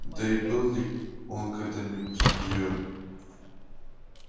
да и был ли он когда-нибудь её